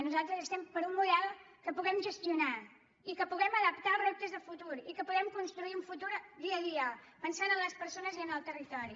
nosaltres estem per un model que puguem gestionar i que puguem adaptar als reptes de futur i que puguem construir un futur dia a dia pensant en les persones i en el territori